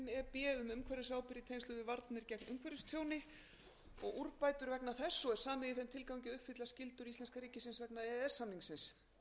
í tengslum við varnir gegn umhverfistjóni og úrbætur vegna þess og er samið í þeim tilgangi að uppfylla skyldur íslenska ríkisins vegna e e s samningsins